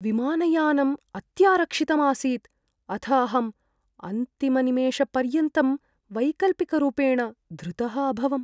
विमानयानम् अत्यारक्षितम् आसीत्, अथ अहम् अन्तिमनिमेषपर्यन्तं वैकल्पिकरूपेण धृतः अभवम्।